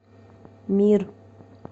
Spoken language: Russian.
мир